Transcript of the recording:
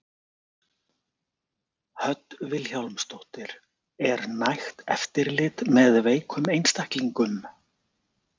Hödd Vilhjálmsdóttir: Er nægt eftirlit með veikum einstaklingum?